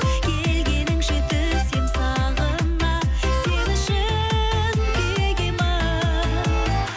келгеніңше түсем сағына сен үшін күйге мен